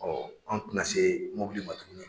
an tɛna se mobili ma tuguni.